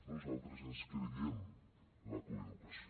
nosaltres ens creiem la coeducació